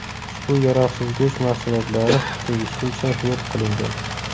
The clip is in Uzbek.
Ushbu yaroqsiz go‘sht mahsulotlari tegishlicha yo‘q qilingan.